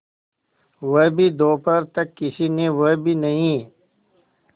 वह भी दोपहर तक किसी ने वह भी नहीं